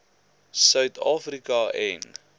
suid afrika en